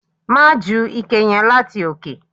Má ju ike yẹn láti òkè!